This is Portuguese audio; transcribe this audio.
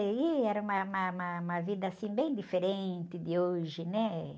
E aí era uma, uma, uma, uma vida, assim, bem diferente de hoje, né?